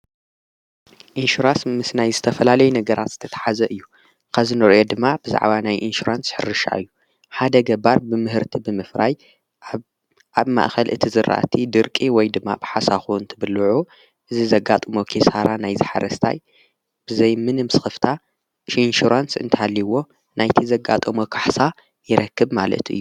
ኢንሹራንስ ምስ ናይ ዝተፈላለይ ነገራት ዝተተሓዘ እዩ ኸዝኑርዮ ድማ ብዛዕዋ ናይ ኢንሽራንስ ኅርሻ እዩ ሓደ ገባር ብምህርቲ ብምፍራይ ኣብ ማእኸል እቲ ዘራእቲ ድርቂ ወይ ድማ ብሓሳኹውን ትብልዑ እዝ ዘጋጦሞ ኺሳራራ ናይ ዝሓረስታይ ብዘይ ምንም ስኽፍታ ሽኢንሹራንስ እንታልይዎ ናይቲ ዘጋጦመ ካሕሳ ይረክብ ማለቱ እዩ።